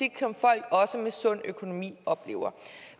som med sund økonomi oplever